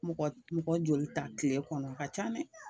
Mɔgɔ mɔgɔ joli ta tile kɔnɔ, o ka ca dɛ.